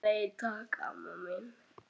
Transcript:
Nei, takk, amma mín.